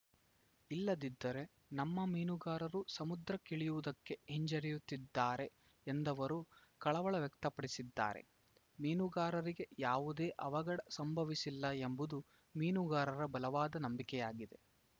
ಇಲ್ಲದಿದ್ದರೆ ನಮ್ಮ ಮೀನುಗಾರರು ಸಮುದ್ರಕ್ಕಿಳಿಯುವುದಕ್ಕೆ ಹಿಂಜರಿಯುತ್ತಿದ್ದಾರೆ ಎಂದವರು ಕಳವಳ ವ್ಯಕ್ತಪಡಿಸಿದ್ದಾರೆ ಮೀನುಗಾರರಿಗೆ ಯಾವುದೇ ಅವಘಡ ಸಂಭವಿಸಿಲ್ಲ ಎಂಬುದು ಮೀನುಗಾರರ ಬಲವಾದ ನಂಬಿಕೆಯಾಗಿದೆ